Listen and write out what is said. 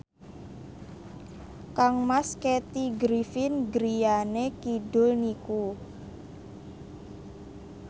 kangmas Kathy Griffin griyane kidul niku